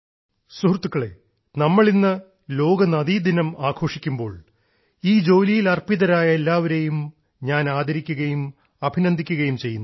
സുഹൃത്തുക്കളെ നമ്മൾ ഇന്ന് ലോക നദീദിനം ആഘോഷിക്കുമ്പോൾ ഈ ജോലിയിൽ അർപ്പിതമായ എല്ലാവരെയും ഞാൻ ആദരിക്കുകയും അഭിനന്ദിക്കുകയും ചെയ്യുന്നു